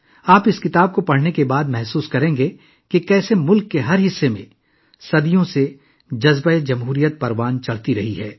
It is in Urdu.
اس کتاب کو پڑھنے کے بعد آپ کو محسوس ہوگا کہ کس طرح صدیوں سے ملک کے ہر حصے میں جمہوریت کی روح رواں ہے